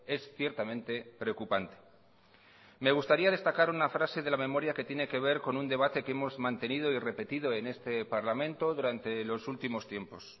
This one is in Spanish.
es ciertamente preocupante me gustaría destacar una frase de la memoria que tiene que ver con un debate que hemos mantenido y repetido en este parlamento durante los últimos tiempos